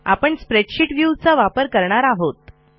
आपण स्प्रेडशीट viewचा वापरणार आहोत